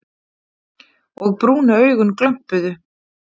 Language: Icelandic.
Og brúnu augun glömpuðu.